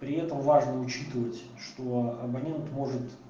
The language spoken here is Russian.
при этом важно учитывать что абонент может